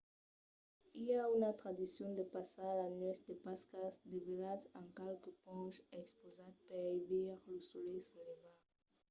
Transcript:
i a una tradicion de passar la nuèch de pascas desvelhat en qualque ponch expausat per i veire lo solelh se levar